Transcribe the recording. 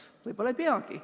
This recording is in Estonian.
Võib-olla ei peagi.